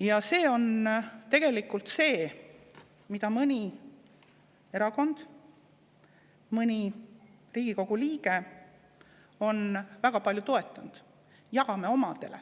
Ja see on tegelikult see, mida mõni erakond, mõni Riigikogu liige on väga palju toetanud: jagame omadele,